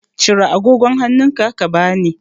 Cire agogon hannunka ka bani.